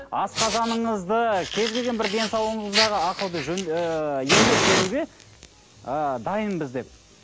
асқазаныңызды кез келген бір денсаулығыңздағы ахауды ыыы емдеп беруге ы дайынбыз деп